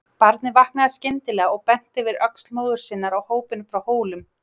Barnið vaknaði skyndilega og benti yfir öxl móður sinnar á hópinn frá Hólum.